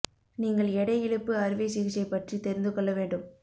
நீங்கள் எடை இழப்பு அறுவை சிகிச்சை பற்றி தெரிந்து கொள்ள வேண்டும்